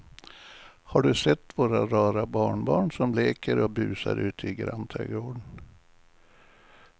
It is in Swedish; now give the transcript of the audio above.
Har du sett våra rara barnbarn som leker och busar ute i grannträdgården!